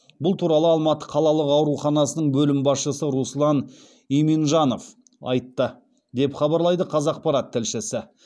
бұл туралы алматы қалалық ауруханасының бөлім басшысы руслан иминджанов айтты деп хабарлайды қазақпарат тілшісі